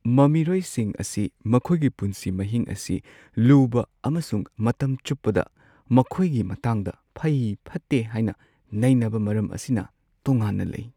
ꯃꯃꯤꯔꯣꯏꯁꯤꯡ ꯑꯁꯤ ꯃꯈꯣꯏꯒꯤ ꯄꯨꯟꯁꯤ ꯃꯍꯤꯡ ꯑꯁꯤ ꯂꯨꯕ ꯑꯃꯁꯨꯡ ꯃꯇꯝ ꯆꯨꯞꯄꯗ ꯃꯈꯣꯏꯒꯤ ꯃꯇꯥꯡꯗ ꯐꯩ-ꯐꯠꯇꯦ ꯍꯥꯏꯅ ꯅꯩꯅꯕ ꯃꯔꯝ ꯑꯁꯤꯅ ꯇꯣꯉꯥꯟꯅ ꯂꯩ ꯫